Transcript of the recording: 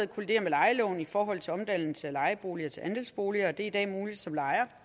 kollidere med lejeloven i forhold til omdannelse af lejeboliger til andelsboliger det er i dag muligt som lejer